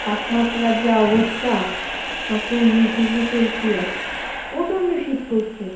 তাপমাত্রার যা অবস্থা মাত্র উনিশ degree celcius প্রচন্ড শীত পরসে।